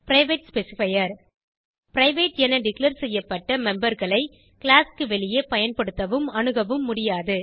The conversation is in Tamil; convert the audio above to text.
பிரைவேட் ஸ்பெசிஃபையர் பிரைவேட் என டிக்ளேர் செய்யப்பட்ட மெம்பர் களை கிளாஸ் க்கு வெளியே பயன்படுத்தவும் அணுகவும் முடியாது